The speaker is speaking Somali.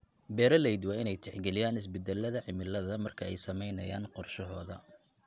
Beeraleydu waa in ay tixgeliyaan isbeddelada cimilada marka ay samaynayaan qorshahooda.